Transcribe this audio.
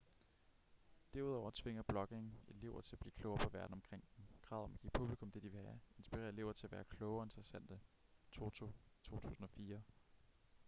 derudover tvinger blogging elever til at blive klogere på verden omkring dem. kravet om at give publikum det de vil have inspirerer elever til at være kloge og interessante toto 2004